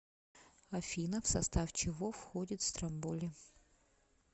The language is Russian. афина в состав чего входит стромболи